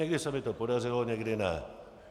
Někdy se mi to podařilo, někdy ne.